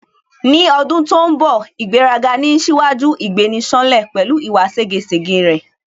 Ní ọdún tó ń bọ̀ ' ìgbéraga ni ń ṣíwájú ìgbéni-ṣánlẹ̀" pẹ̀lú ìwà ségesège rẹ̀